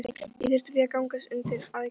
Ég þurfti því að gangast undir aðgerð.